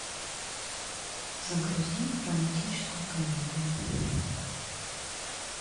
загрузи романтическую комедию